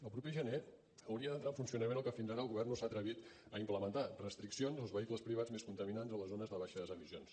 el proper gener hauria d’entrar en funcionament el que fins ara el govern no s’ha atrevit a implementar restriccions als vehicles privats més contaminants a les zones de baixes emissions